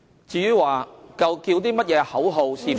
至於呼叫某些口號是否......